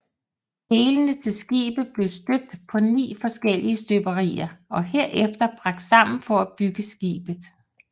Delene til skibet blev støbt på 9 forskellige støberier og herefter bragt sammen for at bygge skibet